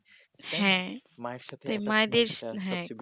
হ্যা মায়ের সাথে মায়েদের হ্যা